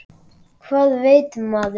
Hvað veit maður?